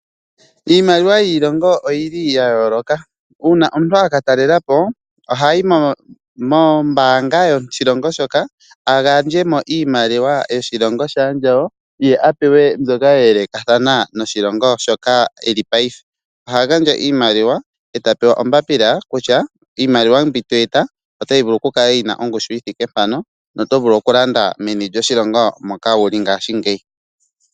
Iimaliwa yiilongo oyili ya yooloka. Uuna omuntu a katalelapo ohayi mombaanga yoshilongo shoka agandje mo iimaliwa yoshilongo shaandjawo ye apewe mbyoka ya elekathana noshilongo shoka eli payife. Oha gandja iimaliwa eta pewa ombapila kutya iimaliwa mbi to eta otovulu okukala wuna ongushu yithike mpano, no tovulu okulanda meni lyoshilongo moka wuli ngaashingeyi.